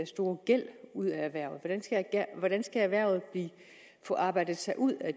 store gæld ud af erhvervet hvordan skal erhvervet få arbejdet sig ud af